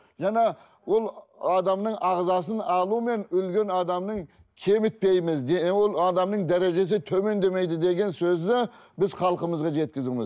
жаңа ол адамның ағзасын алу мен өлген адамның кемітпейміз де ол адамның дәрежесі төмендемейді деген сөзді біз халқымызға жеткізуіміз